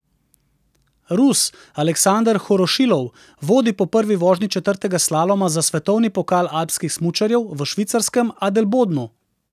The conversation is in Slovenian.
Rus Aleksander Horošilov vodi po prvi vožnji četrtega slaloma za svetovni pokal alpskih smučarjev v švicarskem Adelbodnu.